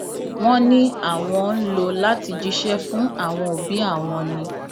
wọn ní àwọn ń lò láti jíṣẹ fún àwọn òbí àwọn ni